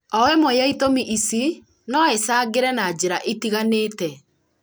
o ĩmwe ya itũmi ici no icangĩre na njĩra itiganĩte